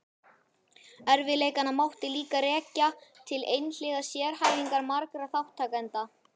Erfiðleikana mátti líka rekja til einhliða sérhæfingar margra þátttakenda.